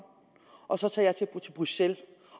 og så tager jeg til bruxelles